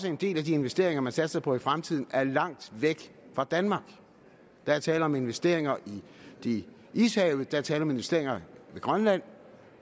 at en del af de investeringer man satser på i fremtiden er langt væk fra danmark der er tale om investeringer i ishavet der er tale om investeringer ved grønland